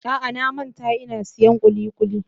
A'a, na manta in siyan kulikuli.